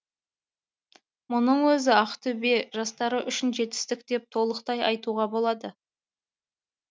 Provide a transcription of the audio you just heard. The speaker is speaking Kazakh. мұның өзі ақтөбе жастары үшін жетістік деп толықтай айтуға болады